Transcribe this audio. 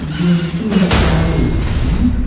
இது வந்துட்டு ஒரு காலேஜ்ஜி .